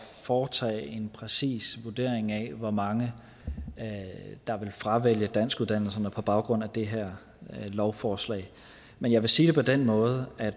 foretage en præcis vurdering af hvor mange der vil fravælge danskuddannelserne på baggrund af det her lovforslag men jeg vil sige det på den måde at